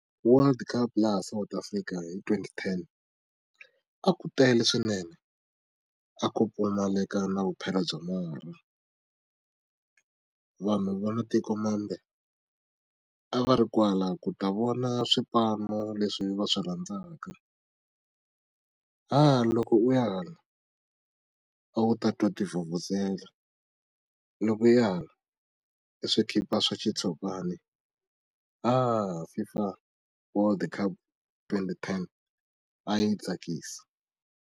World cup laha South Africa hi twenty ten a ku tele swinene a ku pfumaleka na vuphelo bya marha vanhu va matikomambe a va ri kwala ku ta vona swipano leswi va swi rhandzaka ha loko u ya hala a wu ta twa tivhuvhuzela loko u ya hala i swi khipha swa xitshopani fifa world cup twenty ten a yi tsakisa.